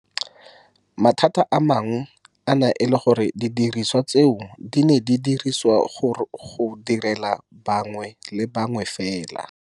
Mathata a mangwe a ne a le gore didiriswa tseo di ne di dirisiwa go direla bangwe le bangwe fela.